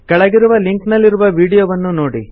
ಕೆಳಗಿರುವ ಲಿಂಕ್ ನಲ್ಲಿರುವ ವೀಡಿಯೊವನ್ನು ನೋಡಿ